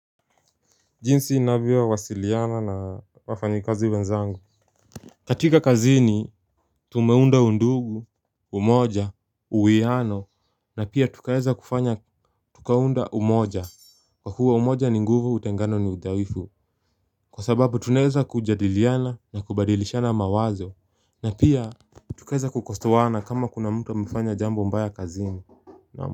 Jinsi navyo wasiliana na wafanyikazi wenzangu katika kazini tumeunda undugu, umoja, uwiano, na pia tukaeza kufanya tukaunda umoja kwa kuwa umoja ni nguvu utengano ni udhaifu Kwa sababu tuneza kujadiliana na kubadilishana mawazo na pia tukaeza kukosoana kama kuna mtu amefanya jambo mbaya kazini na.